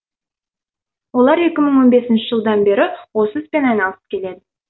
олар екі мың он бесінші жылдан бері осы іспен айналысып келеді